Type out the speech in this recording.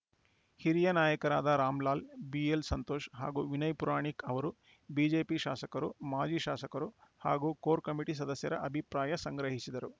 ಹಿರಿಯ ನಾಯಕರಾದ ರಾಮಲಾಲ್‌ ಬಿಎಲ್‌ ಸಂತೋಷ್‌ ಹಾಗೂ ವಿನಯ್‌ ಪುರಾಣಿಕ್‌ ಅವರು ಬಿಜೆಪಿ ಶಾಸಕರು ಮಾಜಿ ಶಾಸಕರು ಹಾಗೂ ಕೋರ್‌ ಕಮಿಟಿ ಸದಸ್ಯರ ಅಭಿಪ್ರಾಯ ಸಂಗ್ರಹಿಸಿದರು